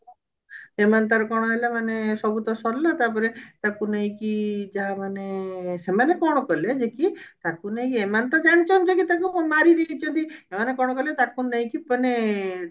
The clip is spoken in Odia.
ଏମାନେ ତାର କଣ ହେଲା ମାନେ ସବୁ ତ ସାରିଲା ମାନେ ତାକୁ ନେଇକି ଯାହା ମାନେ ସେମାନେ କଣ କଲେ ଯାଇକି ତାକୁ ନେଇକି ଏମାନେ ତ ଜାଣିଛନ୍ତି କି ତାକୁ ମାରିଦେଇଛନ୍ତି ସେମାନେ କଣ କାଲେ ତାକୁ ନେଇକି ମାନେ ତାର